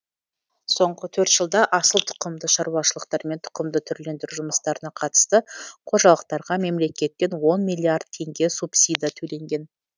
соңғы төрт жылда асыл тұқымды шаруашылықтар мен тұқымдық түрлендіру жұмыстарына қатысты қожалықтарға мемлекеттен он миллиард теңге субсидия төленген